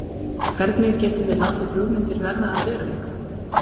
Hvernig getum við látið hugmyndir verða að veruleika?